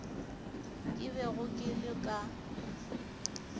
ke bego ke le ka